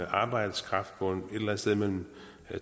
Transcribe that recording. arbejdskraft på et eller andet sted mellem